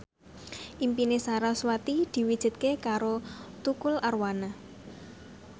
impine sarasvati diwujudke karo Tukul Arwana